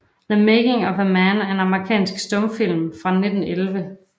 The Making of a Man er en amerikansk stumfilm fra 1911 af D